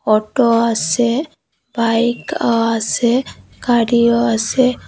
Auto আসে বাইকও আসে গাড়িও আসে।